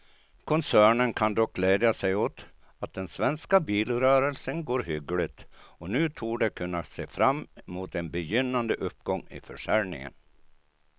Koncernen kan dock glädja sig åt att den svenska bilrörelsen går hyggligt och nu torde kunna se fram mot en begynnande uppgång i försäljningen.